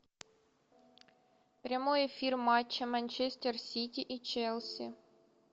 прямой эфир матча манчестер сити и челси